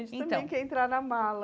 Então A gente também quer entrar na mala.